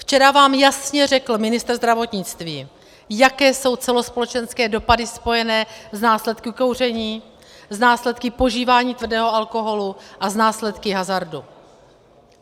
Včera vám jasně řekl ministr zdravotnictví, jaké jsou celospolečenské dopady spojené s následky kouření, s následky požívání tvrdého alkoholu a s následky hazardu.